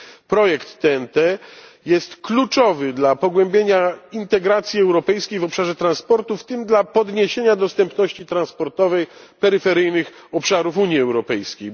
Projekt TEN T jest kluczowy dla pogłębienia integracji europejskiej w obszarze transportu, w tym dla zwiększenia dostępności transportowej peryferyjnych obszarów Unii Europejskiej.